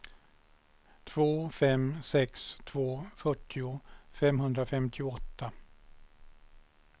två fem sex två fyrtio femhundrafemtioåtta